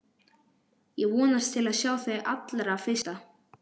Ég vonast til að sjá þig hið allra fyrsta.